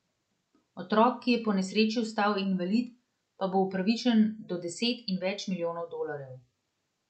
Otrok, ki je po nesreči ostal invalid pa bo upravičen do deset in več milijonov dolarjev.